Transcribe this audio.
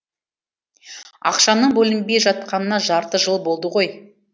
ақшаның бөлінбей жатқанына жарты жыл болды ғой